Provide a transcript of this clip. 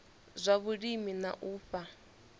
zwa vhulimi na u fha